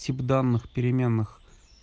тип данных переменных